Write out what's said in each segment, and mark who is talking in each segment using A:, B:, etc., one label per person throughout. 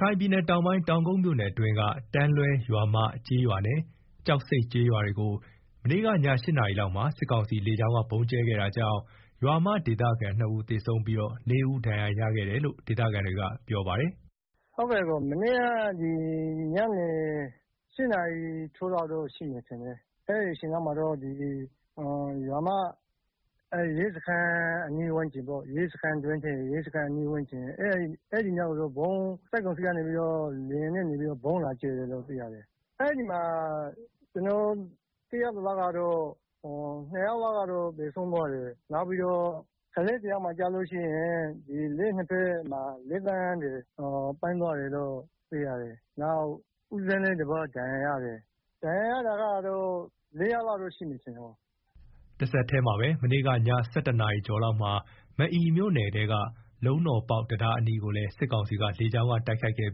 A: ခိုင်ပြည်နယ်တောင်ပိုင်း တောင်ကုတ်မြို့နယ်အတွင်းက တန်းလွဲရွာမ ကျေးရွာနဲ့ ကျောက်ဆိပ်ကျေးရွာတွေကို မနေ့ကည ၈နာရီလောက်မှာ စစ်ကောင်စီလေကြောင်းက ဗုံးကြဲခဲ့တာကြောင့် ရွာမဒေသခံ ၂ဦးသေဆုံးပြီးတော့ ၄ ဦးဒဏ်ရာရရှိခဲ့တယ်လို့ ဒေသခံတွေက ပြောပါတယ်
B: ။ “ မနေ့က ညနေ ၈နာရီထိုးလောက်တော့ရှိမယ်ထင်တယ်၊အဲဒီအချိန်လောက်မှာတော့ ရွာမ ရဲစခန်း အနီးဝန်းကျင်ကို စစ်ကောင်စီက လေယာဉ်နဲ့ဗုံးလာကြဲတယ်၊ အဲဒီမှာ ကျနော်သိရ သလောက် နှစ်ယောက်သေဆုံးပြီးတော့ ကလေးတယောက်မှာ လက်ချောင်းတွေပြတ်သွားတယ်၊ နောက် ဦးဇင်းတပါး ဒဏ်ရာရတယ်၊ ဒဏ်ရာရတာ ၄ ယောက်လောက် ရှိမယ် ထင်တယ်။”
A: တဆက်တည်းမှာပဲ မနေ့က ည ၁၁ နာရီကျော်လောက်မှာ မအီမြို့နယ်က လုံးတော်ပေါက် တံတားအနီးကိုလည်း စစ်ကောင်စီလေကြောင်းက တိုက်ခိုက်ခဲ့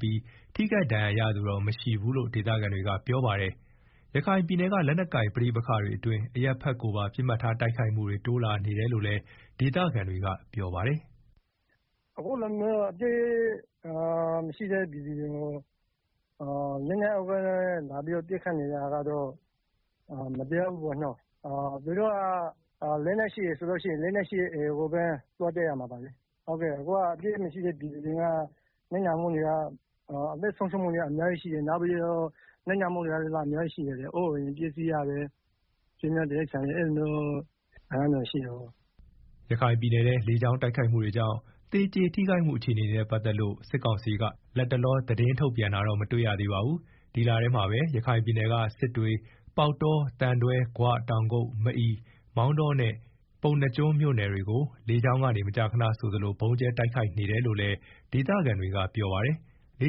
A: ပြီး ထိခိုက်ဒဏ်ရာရသူတော့ မရှိဘူးလို့လည်း ဒေသခံတွေကပြောပါတယ်။ ရခိုင်ပြည်နယ်က လက်နက်ကိုင် ပဋိပက္ခတွေအတွင်း အရပ်ဖက်ကိုပါ ပစ်မှတ်ထား တိုက်ခိုက်မှုတွေ တိုးလာနေတယ်လို့လည်း ဒေသခံတွေက ပြောပါတယ်။
B: “ အခုလိုမျိုး လက်နက်မရှိတဲ့ ပြည်သူတွေကို လက်နက်အားကိုးနဲ့ လာပြီးတော့ပစ်ခတ်နေ တာ ကတော့ မတရားဘူးပေါ့နော်၊ သူတို့က လက်နက်ရှိတယ်ဆိုရင် လက်နက် ရှိတဲ့ AAကိုပဲ သွားတိုက်ရမှာလေ အခုက အပြစ်မရှိတဲ့ ပြည်သူတွေ အသက်ဆုံးရှုံးမှုတွေ အများကြီးရှိတယ်၊ အိုးအိမ်တွေ ပျက်စီးရတယ် အဲလို ဆုံးရှုံးနစ်နာတာတွေရှိတယ်
A: ။” ရခိုင်ပြည်နယ်မှာ လေကြောင်းတိုက်ခိုက်မှုတွေကြောင့် သေကျေထိခိုက်မှု အခြေအနေနဲ့ ပတ်သက်လို့ စစ်ကောင်စီက လတ်တလော သတင်းထုတ်ပြန်တာတော့ မတွေ့ရသေးပါဘူး။ ဒီလထဲမှာပဲ ရခိုင်ပြည်နယ်က စစ်တွေ ပေါက်တော သံတွဲ ဂွ တောင်ကုတ် မအီ မောင်တော နဲ့ ပုဏ္ဏားကျွန်းမြို့နယ်တွေကို လေကြောင်းကနေမကြာခဏဆိုသလို ဗုံးကြဲတိုက်ခိုက်နေတယ်လို့လည်း ဒေသခံတွေက ပြောပါတယ်။ လေ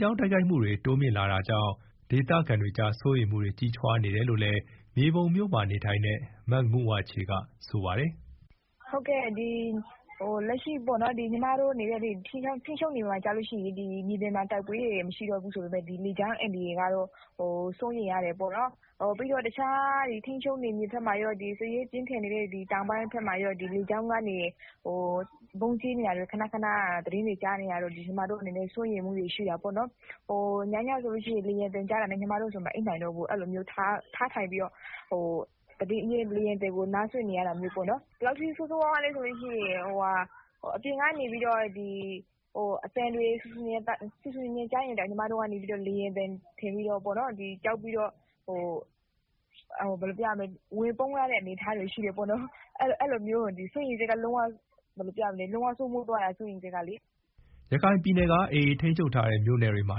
A: ကြောင်းတိုက်ခိုက်မှုတွေ တိုးမြှင့်လာနေတာကြောင့် ဒေသခံတွေကြား စိုးရိမ်မှုတွေ ကြီးထွားလာနေတယ်လို့လည်း မြေပုံမြို့မှာနေထိုင်တဲ့ မငုဝါချေက ပြောပါတယ်
C: ။ “ အခု ညီမတို့နေတဲ့ ထိန်းချုပ်နယ်မြေမှာ ဆိုလို့ရှိရင် မြေပြင်မှာ တိုက်ပွဲတွေ မရှိတော့ဘူး ဆိုပေမယ့် လေကြောင်းအန္တရာယ်ကတော့ စိုးရိမ်ရတယ်ပေါ့နော်၊ ပြီးတော့ တခြား ထိန်းချုပ် နယ်မြေဘက်မှာရော စစ်ရေးပြင်းထန်နေတဲ့ တောင်ပိုင်းဘက်မှာရော လေကြောင်းကနေ ဗုံးကြဲနေတာ ခဏခဏသတင်းတွေကြားနေရတော့ ညီမတို့အနေနဲ့ စိုးရိမ်မှုတွေ ရှိတာ ပေါ့နော်၊ ညညဆိုရင် လေယာဉ်သံကြားတာနဲ့ မအိပ်နိုင်တော့ဘူး၊ထထိုင်ပြီး တော့ လေယာဉ်သံကို နားစွင့်နေရတာမျိုးပေါ့နော်၊ ဘယ်လောက်ထိဆိုးဆိုးရွားရွားလဲဆိုရင် အပြင်က ဆူဆူညံညံသံကြားရင်တောင် ကြောက်ပြီးတော့ ဝင်ပုန်းရတဲ့ အနေအထားရှိတယ်။ စိုးရိမ်စိတ်ကဘယ်လိုပြောရမလဲ လုံးဝစိုးမိုး သွားတာ စိုးရိမ်စိတ်ကလေ။
A: ” ရခိုင်ပြည်နယ်က AAထိန်းချုပ်ထားတဲ့ မြို့နယ်တွေမှာ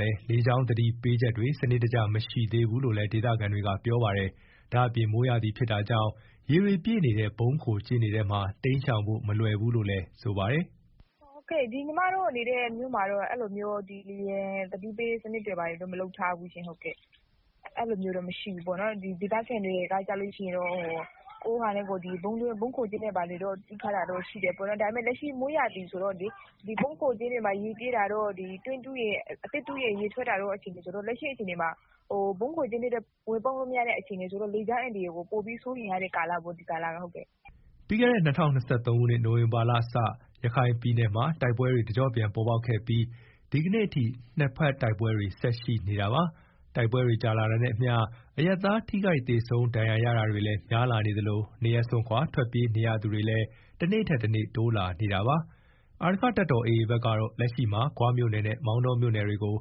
A: လည်းလေကြောင်းသတိပေးချက်တွေ စနစ်တကျမရှိသေးဘူးလို့ဒေသခံတွေကပြောပါတယ်။ ဒါ့အပြင် မိုးရာသီဖြစ်တာကြောင့် ရေတွေပြည့်နေတဲ့ ဗုံးခိုကျင်းတွေမှာ တိမ်းရှောင်ဖို့ မလွယ်ဘူးလို့လည်း ပြောပါတယ်။
C: “ညီမတို့နေတဲ့ မြို့မှာတော့ လေယာဉ်သတိပေးစနစ်တွေ ဘာတွေတော့ မလုပ်ထားဘူးရှင့်။ ဒေသခံတွေကတော့ ကိုယ်ဟာနဲ့ကိုယ် ဗုံးခိုကျင်းတွေ ဘာတွေ တူးထားတာတော့ရှိတယ်၊ ဒါပေမယ့်လက်ရှိ မိုးရာသီဆိုတော့လေ ဗုံးခိုကျင်းတွေမှာ ရေပြည့်နေတာတို့ တွင်း အသစ်တူး ရင် ရေထွက်တို့ ရှိနေတော့ လက်ရှိမှာ ဗုံးခိုကျင်းထဲတောင် ဝင်ပုန်းလို့မရတဲ့ အနေအထား ဆိုတော့ လေကြောင်းအန္တရာယ်ကို အရမ်းစိုးရိမ်ရတဲ့ ကာလပေါ့ ဒီကာလကလေ။
A: ” ပြီးခဲ့တဲ့ ၂၀၂၃ခုနှစ် နိုဝင်ဘာလကစ ရခိုင်ပြည်နယ်မှာ တိုက်ပွဲတွေ တကျော့ပြန် ပေါ်ပေါက်ခဲ့ပြီး၊ ဒီကနေ့အထိ နှစ်ဘက်တိုက်ပွဲတွေဆက်ရှိနေတာပါ။ တိုက်ပွဲတွေကြာ လာတာနဲ့အမျှ အရပ်သားထိခိုက်သေဆုံး ဒဏ်ရာရတာတွေလည်း များလာနေသလို နေရပ်စွန့်ခွာထွက်ပြေးနေရသူတွေလည်း တနေ့ထက်တနေ့ တိုးလာနေတာပါ။ အာရက္ခတပ်တော်AAဘက်ကတော့ လက်ရှိမှာ ဂွမြို့နယ်နဲ့ မောင်တောမြို့နယ်တွေကို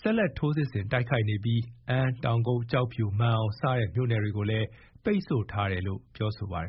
A: ဆက်လက် ထိုးစစ်ဆင်တိုက်ခိုက်နေပြီး အမ်း တောင်ကုတ် ကျောက်ဖြူ မာန်အောင်စတဲ့ မြို့နယ်တွေကိုလည်း ပိတ်ဆို့ထားတယ်လို့ ပြောဆိုထားပါတယ်